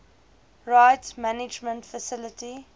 rights management facility